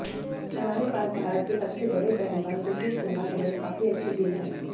हमारे पास भारत के सबसे बड़े पहलवान सुशील कुमार समेत काफी अच्छी टीम है